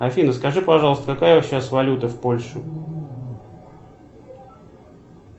афина скажи пожалуйста какая сейчас валюта в польше